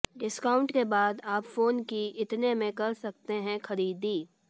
discount के बाद आप फोन की इतने में कर सकते हैं खरीदारी